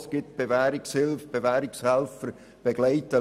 Es gibt ja die Bewährungshilfe, welche die Leute begleitet.